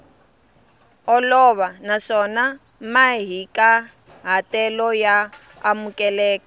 olova naswona mahikahatelo ya amukeleka